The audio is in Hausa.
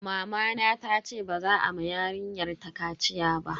Mamana tace ba za a ma yarinyar ta kaciya ba.